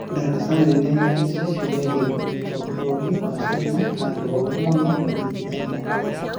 Daraca nene ya gĩcicio rihingũretwe bũrũri wa China handũ horu mũno kũnyitithania wendo